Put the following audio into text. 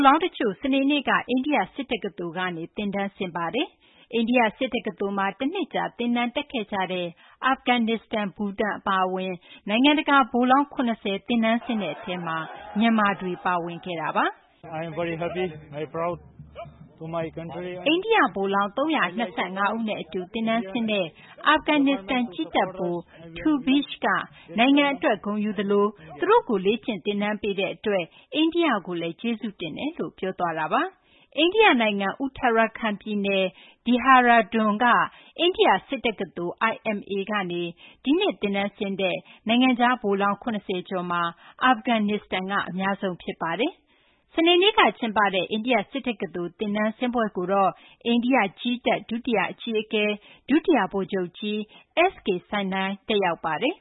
လောင်းတချို့ စနေနေ့က အိန္ဒိယ စစ်တက္ကသိုလ်ကနေ သင်တန်းဆင်းပါတယ်။ အိန္ဒိယစစ်တက္ကသိုလ်မှာ တနှစ်ကြာ သင်တန်းတက်ခဲ့ကြတဲ့ အာဖဂန်နစ္စတန်၊ ဘူတန် အပါအဝင် နိုင်ငံတကာ ဗိုလ်လောင်း ၇၀ သင်တန်းဆင်းတဲ့အထဲမှာ မြန်မာဗိုလ်လောင်းတွေ ပါဝင်ခဲ့တာပါ။ အိန္ဒိယဗိုလ်လောင်း ၃၂၅ ဦးနဲ့အတူ သင်တန်းဆင်းတဲ့ အာဖဂန်နစ္စတန် ကြည်းတပ်ဗိုလ် Taubish က သင်တန်းဆင်းပွဲမှာ “နိုင်ငံအတွက်လည်း ဂုဏ်ယူသလို သူတို့ကို လေ့ကျင့် သင်တန်းပေးတဲ့အတွက် အိန္ဒိယကိုလည်း ကျေးဇူးတင်ကြောင်း” ပြောသွားတာပါ။ အိန္ဒိယနိုင်ငံ Uttarakhand ပြည်နယ် Dehradun က အိန္ဒိယစစ်တက္ကသိုလ် IMA ကနေ ဒီနှစ် သင်တန်းဆင်းတဲ့ နိုင်ငံခြားဗိုလ်လောင်း ၇၀ ကျော်မှာ အာဖဂန်နစ္စတန်က အများဆုံးဖြစ်ပါတယ်။ စနေနေ့ကကျင်းပတဲ့ အိန္ဒိယစစ်တက္ကသိုလ် သင်တန်းဆင်းပွဲကိုတော့ အိန္ဒိယ ကြည်းတပ် ဒုတိယအကြီးအကဲ ဒုတိယဗိုလ်ချုပ်ကြီး S.K Saini တက်ရောက်ပါတယ်